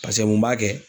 Paseke mun b'a kɛ